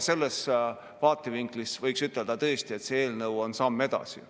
Sellest vaatevinklist võiks ütelda, et see eelnõu on samm edasi.